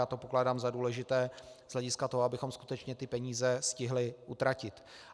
Já to pokládám za důležité z hlediska toho, abychom skutečně ty peníze stihli utratit.